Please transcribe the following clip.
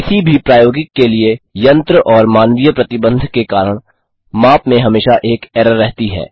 किसी भी प्रायोगिक के लिए यंत्र और मानवीय प्रतिबन्ध के कारण माप में हमेशा एक एरर रहती है